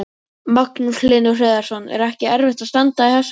Magnús Hlynur Hreiðarsson: Er ekki erfitt að standa í þessu?